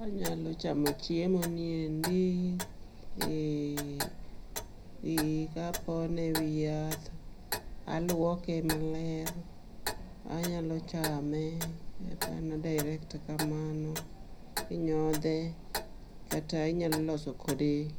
anyalo chamo chiemo niendi, ee ee, kapone ewi yath, alwoke maler, anyalo chame mana direct kamano. Inyodhe kata inyalo lose kode